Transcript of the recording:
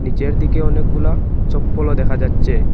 নিচের দিকে অনেকগুলা চপ্পলও দেখা যাচ্ছে।